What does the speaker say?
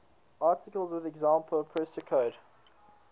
articles with example pseudocode